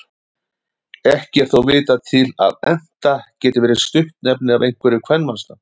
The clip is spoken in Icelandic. Ekki er þó vitað til að Enta geti verið stuttnefni af einhverju kvenmannsnafni.